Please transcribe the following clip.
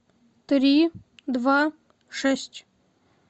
три два шесть